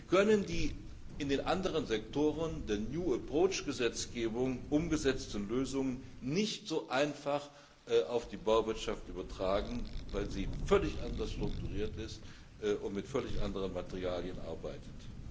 Wir können die in den anderen Sektoren der New Approach Gesetzgebung umgesetzten Lösungen nicht so einfach auf die Bauwirtschaft übertragen, weil sie völlig anders strukturiert ist und mit völlig anderen Materialien arbeitet.